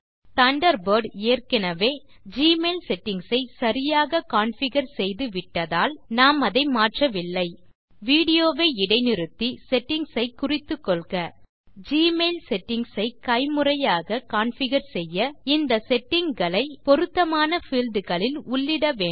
Thunderbird ஏற்கனெவே Gmail settings ஐ சரியாக கான்ஃபிகர் செய்துவிட்டதால் நாம் அதை மாற்றவில்லை வீடியோ வை இடை நிறுத்தி செட்டிங்ஸ் ஐ குறித்துக்கொள்க ஜிமெயில் செட்டிங்ஸ் ஐ கைமுறையாக கான்ஃபிகர் செய்ய இந்த செட்டிங் களை பொருத்தமான பீல்ட் களில் உள்ளிட வேன்டும்